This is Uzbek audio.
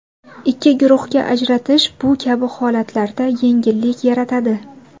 Ikki guruhga ajratish bu kabi holatlarda yengillik yaratadi.